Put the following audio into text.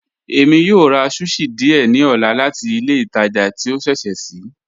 Ẹ̀mi yó rà sushi díẹ̀ ní ọ̀là láti ilẹ̀ ìtàjà tí o ṣẹṣẹ́ ṣii